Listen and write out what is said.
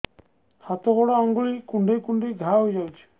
ହାତ ଗୋଡ଼ ଆଂଗୁଳି କୁଂଡେଇ କୁଂଡେଇ ଘାଆ ହୋଇଯାଉଛି